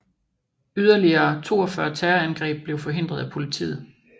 Yderligere 42 terrorangreb blev forhindret af politiet